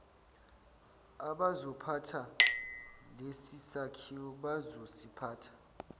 abazophatha lesisakhiwo bazosiphatha